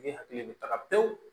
E hakili bɛ taga pewu